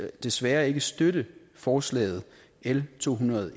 desværre ikke støtte forslaget l to hundrede og